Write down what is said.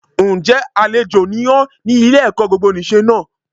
Ǹ jẹ́ àlejò ni ọ́ ní Ile ẹ̀kọ́ gbogbonìse náà